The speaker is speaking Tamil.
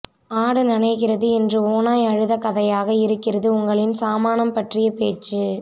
ஆடு நனைகிறது என்று ஓநாய் அழுதகதையாக இருக்கிறது உங்களின் சாமானம் பற்றிய பேச்சு